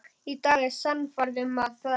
Í dag er ég sannfærð um að það er rétt.